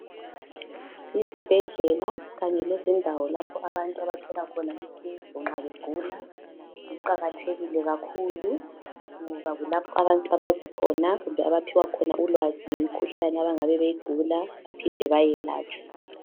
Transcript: Izibhedlela kanye lendawo lapho abantu abathola khona usizo nxa begula ziqakathekile kakhulu ngoba kulapho abantu abazi khona kumbe abaphiwa khona ulwazi ngemikhulane abangabe beyigula baphinde bayelatshwe.